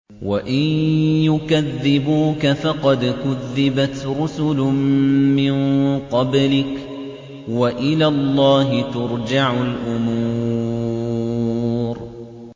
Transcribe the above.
وَإِن يُكَذِّبُوكَ فَقَدْ كُذِّبَتْ رُسُلٌ مِّن قَبْلِكَ ۚ وَإِلَى اللَّهِ تُرْجَعُ الْأُمُورُ